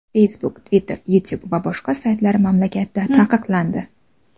Facebook, Twitter, Youtube va boshqa saytlar mamlakatda taqiqlandi.